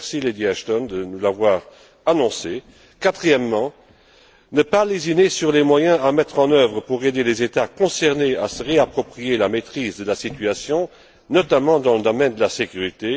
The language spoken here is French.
Merci, Lady Ashton, de nous l'avoir annoncée. Quatrièmement, nous ne devons pas lésiner sur les moyens à mettre en œuvre pour aider les États concernés à se réapproprier la maîtrise de la situation, notamment dans le domaine de la sécurité.